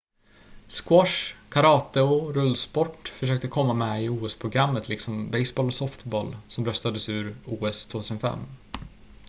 squash karate och rullsport försökte komma med i os-programmet liksom baseboll och softboll som röstades ur os 2005